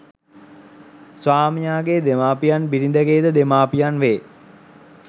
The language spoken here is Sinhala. ස්වාමියාගේ දෙමාපියන් බිරිඳගේ ද දෙමාපියන් වේ.